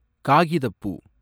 காகிதப்பூ